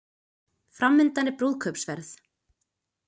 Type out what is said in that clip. Framundan er brúðkaupsferð